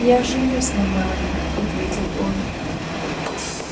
я женюсь на мелани ответил он